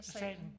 Salen